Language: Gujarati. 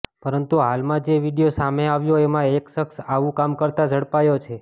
પરંતુ હાલમાં જે વીડિયો સામે આવ્યો એમાં એક શખ્સ આવું કામ કરતાં ઝડપાયો છે